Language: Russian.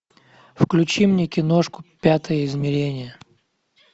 включи мне киношку пятое измерение